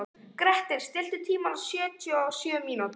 Grettir, stilltu tímamælinn á sjötíu og sjö mínútur.